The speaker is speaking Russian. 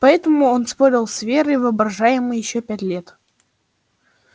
поэтому он спорил с верой воображаемой ещё пять лет